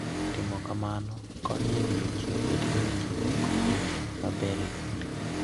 Timo kamano konyo e miyo ji obed gi winjruok maber e kindgi.